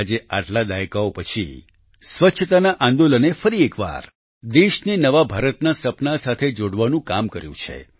આજે આટલા દાયકાઓ પછી સ્વચ્છતા આંદોલને ફરી એકવાર દેશને નવા ભારતના સપનાં સાથે જોડવાનું કામ કર્યું છે